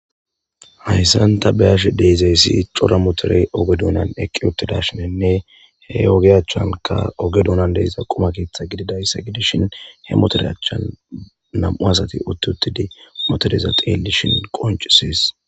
hayssanta beyashe deezeyssi cora motorey oge dunan eqqi uttidashinenne he ogeyachanka oge duunan deyza quma keeththa gididaysa gidishin he motorahchian nam7u asati utt uttidi motoreza teelishin qoncisis